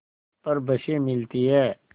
पर बसें मिलती हैं